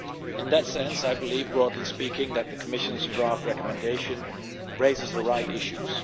In that sense, I believe, broadly speaking, that the Commission's draft recommendation raises the right issues.